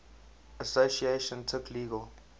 association took legal